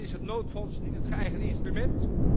Maar is het noodfonds niet het geëigende instrument?